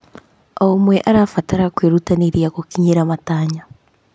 O ũmwe arabatara kwĩrutanĩria gũkinyĩra matanya.